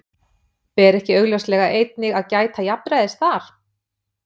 Ber ekki augljóslega einnig að gæta jafnræðis þar?